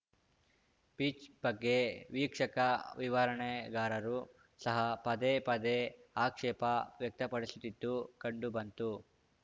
pitch ಬಗ್ಗೆ ವೀಕ್ಷಕ ವಿವರಣೆಗಾರರು ಸಹ ಪದೇ ಪದೇ ಆಕ್ಷೇಪ ವ್ಯಕ್ತಪಡಿಸುತ್ತಿದ್ದಿದ್ದು ಕಂಡುಬಂತು